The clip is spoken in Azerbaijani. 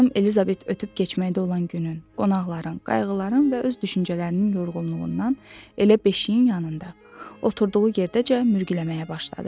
Xanım Elizabet ötüb-keçməkdə olan günün, qonaqların, qayğıların və öz düşüncələrinin yorğunluğundan elə beşiyin yanında, oturduğu yerdəcə mürgüləməyə başladı.